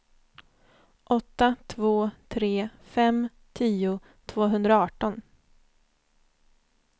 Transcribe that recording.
åtta två tre fem tio tvåhundraarton